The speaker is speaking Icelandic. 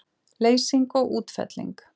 Leysing og útfelling